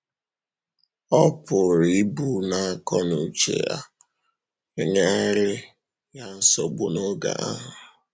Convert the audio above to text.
Ọ pụrụ ịbụ na àkó na ùchè ya enyèrèghị ya nsogbu n’oge ahụ.